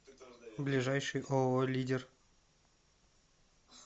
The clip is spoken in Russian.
ближайший ооо лидер